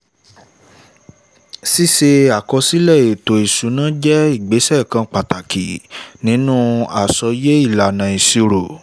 ṣíṣe àkọsílẹ̀ ètò ìṣúná jẹ́ ìgbésẹ̀ kan pàtàkì nínú àsọyé ìlànà ìṣirò